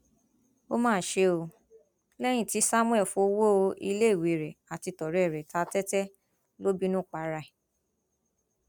ó mà ṣe o lẹyìn tí samuel fọwọ iléiwé rẹ àti tọrẹ ẹ ta tẹtẹ ló bínú para ẹ